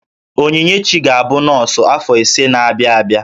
Onyinyechi ga-abụ nọọsụ afọ ise na-abịa abịa